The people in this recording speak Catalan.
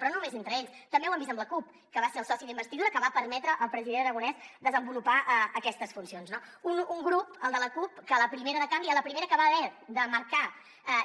però no només entre ells també ho hem vist amb la cup que va ser el soci d’investidura que va permetre al president aragonès desenvolupar aquestes funcions no un grup el de la cup que a la primera de canvi a la primera que va haver de marcar